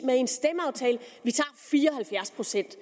med i en stemmeaftale vi tager fire og halvfjerds procent